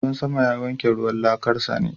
Ruwan sama ya wanke gidan laƙar sani.